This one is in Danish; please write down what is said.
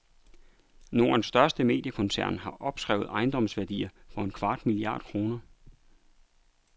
Nordens største mediekoncern har opskrevet ejendomsværdier for en kvart milliard kroner.